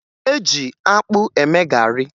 E ji akpụ eme garị